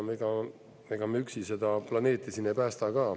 Ega me üksi seda planeeti siin ei päästa ka.